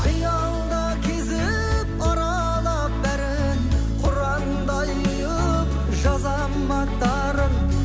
қиялда кезіп аралап бәрін құрандай ұйып жазамын аттарың